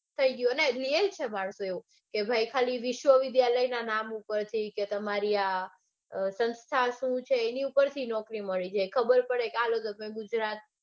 થઇ ગયું ને real છે પાછું એવું કે ભાઈ ખાલી વિશ્વવિદ્યાલયના નામ ઉપરથી કે ભાઈ તમારી આ સંસ્થા શું છે એની ઉપરથી નોકરી મળી જાય. ખબર પડે કે